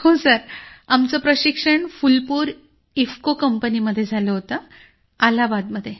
हो सर आमचं प्रशिक्षण फूलपुर इफ्को कंपनी मध्ये झालं होतं अलाहाबादमध्ये